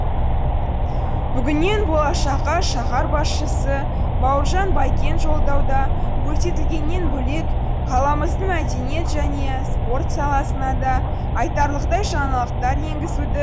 бүгіннен болашаққа шаһар басшысы бауыржан байкен жолдауда көрсетілгеннен бөлек қаламыздың мәдениет және спорт саласына да айтарлықтай жаңалықтар енгізуді